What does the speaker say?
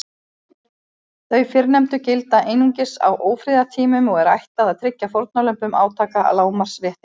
Þau fyrrnefndu gilda einungis á ófriðartímum og er ætlað að tryggja fórnarlömbum átaka lágmarks réttindi.